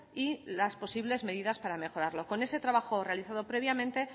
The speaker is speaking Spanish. y las posibles medidas para mejorarlo con ese trabajo realizado previamente